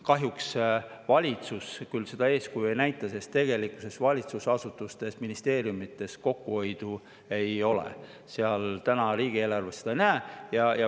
Kahjuks valitsus küll seda eeskuju ei näita, sest tegelikkuses ei ole valitsusasutustes ega ministeeriumides kokkuhoidu näha, ka riigieelarves seda täna ei näe.